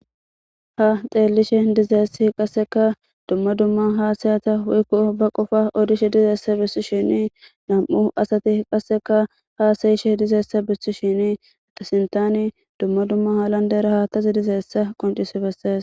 Ha xeellishe dizeessi qasseka dumma dumma haasayata waykko ba qofa odishe dizeessa bissishini nam'u asati qasseka haasayishe dizeessa bissi shini atasintani dumma dumma halan dera haattazi dizeessa qoncisi bessayes.